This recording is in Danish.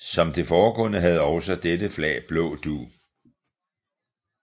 Som det foregående havde også dette flag blå dug